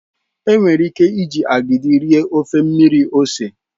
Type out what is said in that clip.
Enwere ike iji agidi rie ofe mmiri ose.